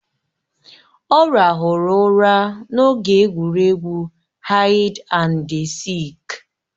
Ọ ràhụrụ ụra n'oge egwuregwu haid andi sịịk.